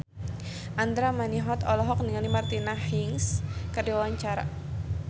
Andra Manihot olohok ningali Martina Hingis keur diwawancara